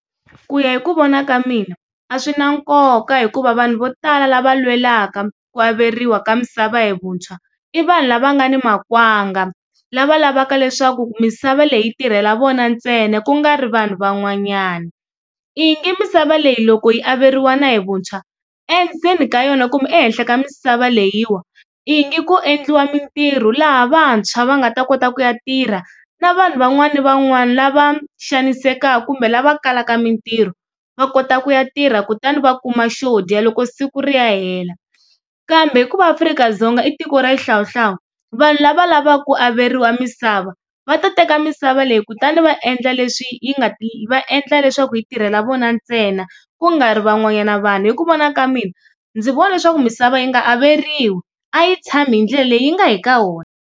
Ku ya hi ku vona ka mina a swi na nkoka hikuva vanhu vo tala lava lwelaka ku averiwa ka misava hi vuntshwa i vanhu lava nga ni makwanga lava lavaka leswaku misava leyi tirhela vona ntsena ku nga ri vanhu van'wanyana. I ngi misava leyi loko yi averiwana hi vuntshwa endzeni ka yona kumbe ehenhla ka misava leyi wa yi nga ku endliwa mintirho laha vantshwa va nga ta kota ku ya tirha na vanhu van'wani van'wani lava xanisekaka kumbe lava kalaka mintirho va kota ku ya tirha kutani va kuma xo dya loko siku ri ya hela, kambe hikuva Afrika-Dzonga i tiko ra xihlawuhlawu vanhu lava lavaka ku averiwa misava va ta teka misava leyi ku tani va endla leswi nga ta endla leswaku yi tirhela vona ntsena ku nga ri van'wanyana vanhu hi ku vona ka mina ndzi vona leswaku misava yi nga averiwa a yi tshami hi ndlela leyi yi nga hi ka wona.